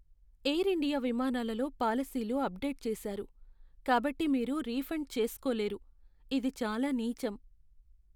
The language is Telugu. ఎయిర్ ఇండియా విమానాలలో పాలసీలు అప్డేట్ చేశారు, కాబట్టి మీరు రీఫండ్ చేస్కోలేరు, ఇది చాలా నీచం.